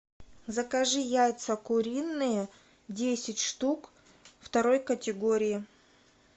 закажи яйца куриные десять штук второй категории